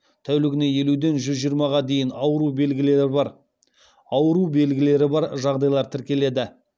тәулігіне елуден жүз жиырмаға дейін ауру белгілері бар жағдайлар тіркеледі